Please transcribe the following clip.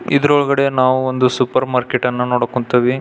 ಇದ್ರ್ ಒಲ್ಗಡೆ ನಾವು ಒಂದು ಸೂಪರ್ ಮಾರ್ಕೆಟ್ ಅನ್ನ ನೊಡೊಕೊಂತಿವಿ.